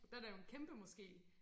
Der der jo en kæmpe moské